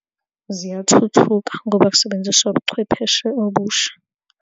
Ziyathuthuka ngoba kusebenziswa ubuchwepheshe obusha.